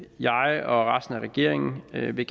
jeg og resten af regeringen gerne vil